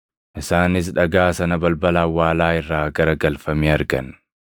Isaanis dhagaa sana balbala awwaalaa irraa gara galfamee argan;